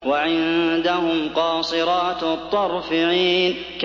وَعِندَهُمْ قَاصِرَاتُ الطَّرْفِ عِينٌ